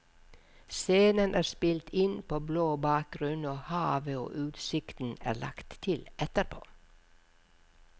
Scenen er spilt inn på blå bakgrunn og havet og utsikten er lagt til etterpå.